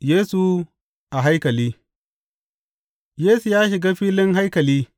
Yesu a haikali Yesu ya shiga filin haikali,